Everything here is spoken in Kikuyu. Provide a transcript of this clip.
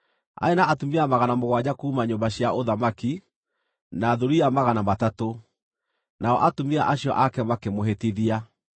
Aarĩ na atumia magana mũgwanja kuuma nyũmba cia ũthamaki, na thuriya magana matatũ, nao atumia acio ake makĩmũhĩtithia.